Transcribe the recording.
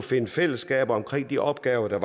finde fællesskaber omkring de opgaver der